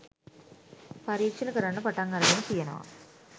පරීක්ෂණ කරන්න පටන් අරගෙන තියෙනවා.